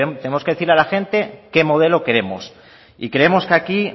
tenemos que decirle a la gente qué modelo queremos y creemos que aquí